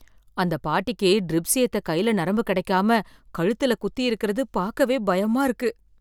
அந்தப் பாட்டிக்கு ட்ரிப்ஸ் ஏத்த கைல நரம்பு கிடைக்காம கழுத்துல குத்தி இருக்கிறது பாக்கவே பயமா இருக்கு